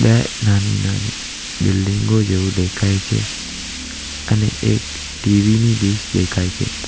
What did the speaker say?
બે નાની નાની બિલ્ડીંગો જેવું દેખાય છે અને એક ટીવી ની ડીશ દેખાય છે.